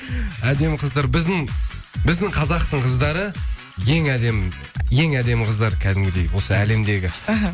әдемі қыздар біздің біздің қазақтың қыздары ең әдемі ең әдемі қыздар кәдімгідей осы әлемдегі аха